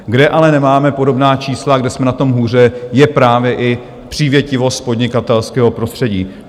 Kde ale nemáme podobná čísla, kde jsme na tom hůře, je právě i přívětivost podnikatelského prostředí.